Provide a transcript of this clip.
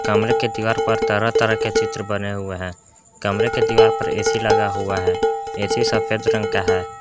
कमरे के दीवार पर तरह तरह के चित्र बने हुए है कमरे की दीवार पर ए_सी लगा हुआ है ए_सी सफेद रंग का है।